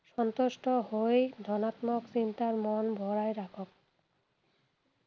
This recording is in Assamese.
সন্তুষ্ট হৈ ধনাত্মক চিন্তাৰ মন ভৰাই ৰাখক।